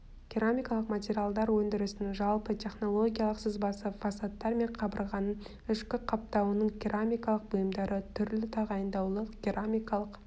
керамикалық материалдар өндірісінің жалпы технологиялық сызбасы фасадтар мен қабырғаның ішкі қаптауының керамикалық бұйымдары түрлі тағайындаулы керамикалық